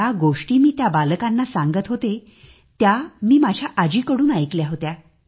ज्या गोष्टी मी त्या बालकांना सांगत होते त्या मी माझ्या आजीकडून ऐकल्या होत्या